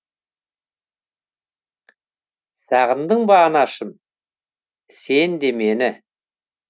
сағындың ба анашым сен де мені